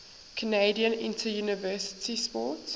canadian interuniversity sport